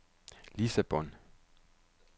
Lissabon